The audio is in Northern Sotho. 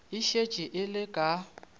e šetše e le ka